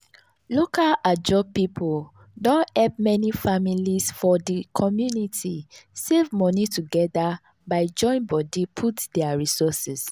local ajo people don help many families for di community save money together by join body put their resources.